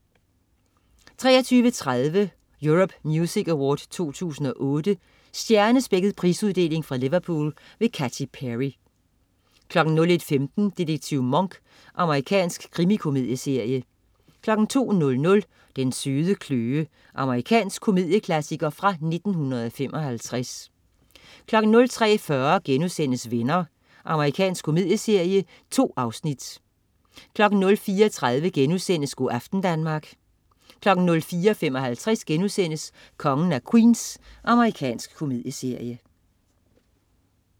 23.30 Europe Music Awards 2008. Stjernespækket prisuddeling fra Liverpool. Katy Perry 01.15 Detektiv Monk. Amerikansk krimikomedieserie 02.00 Den søde kløe. Amerikansk komedieklassiker fra 1955 03.40 Venner.* Amerikansk komedieserie. 2 afsnit 04.30 Go' aften Danmark* 04.55 Kongen af Queens.* Amerikansk komedieserie